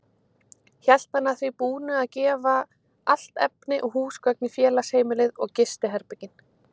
Hét hann að því búnu að gefa allt efni og húsgögn í félagsheimilið og gistiherbergin.